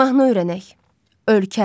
Mahnı öyrənək: “Ölkəm”.